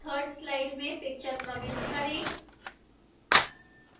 3rd slide में picture प्रविष्ट करें